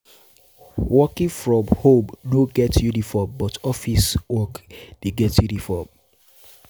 Working from home Working from home no get uniform but office work de get uniform